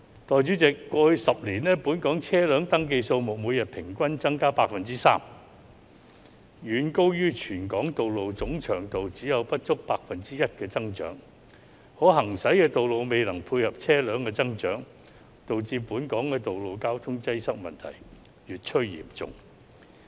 代理主席，過去10年，本港車輛登記數目每天平均增加 3%， 遠高於全港道路總長度只有不足 1% 的增長，可行駛的道路未能配合車輛的增長，導致本港的道路交通擠塞問題越趨嚴重。